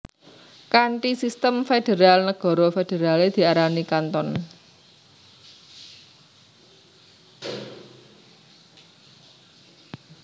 Kanthi sistem federal nagara federale diarani canton